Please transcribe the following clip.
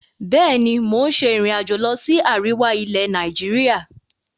Bẹ́ẹ̀ni, mo ń ṣe ìrìn-àjò lọ sí àríwá ilẹ̀ Nàìjíríà.